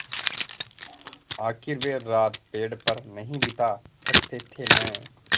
आखिर वे रात पेड़ पर नहीं बिता सकते थे न